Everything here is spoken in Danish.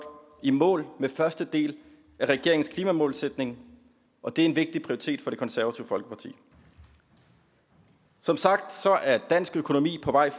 i mål med første del af regeringens klimamålsætning og det er en vigtig prioritet for det konservative folkeparti som sagt er dansk økonomi på vej